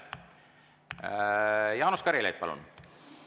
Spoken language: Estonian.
Jaanus Karilaid, palun!